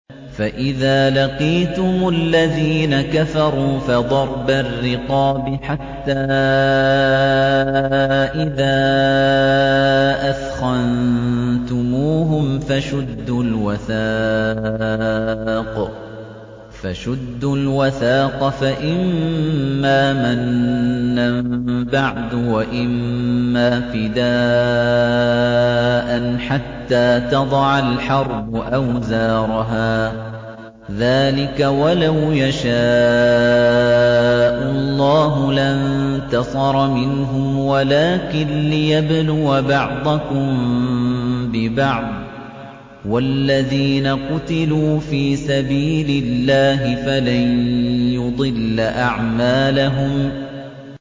فَإِذَا لَقِيتُمُ الَّذِينَ كَفَرُوا فَضَرْبَ الرِّقَابِ حَتَّىٰ إِذَا أَثْخَنتُمُوهُمْ فَشُدُّوا الْوَثَاقَ فَإِمَّا مَنًّا بَعْدُ وَإِمَّا فِدَاءً حَتَّىٰ تَضَعَ الْحَرْبُ أَوْزَارَهَا ۚ ذَٰلِكَ وَلَوْ يَشَاءُ اللَّهُ لَانتَصَرَ مِنْهُمْ وَلَٰكِن لِّيَبْلُوَ بَعْضَكُم بِبَعْضٍ ۗ وَالَّذِينَ قُتِلُوا فِي سَبِيلِ اللَّهِ فَلَن يُضِلَّ أَعْمَالَهُمْ